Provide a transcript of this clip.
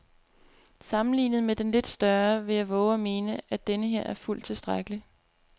Sammenlignet med den lidt større vil jeg vove at mene, at denneher er fuldt tilstrækkelig.